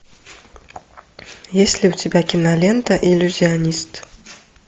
есть ли у тебя кинолента иллюзионист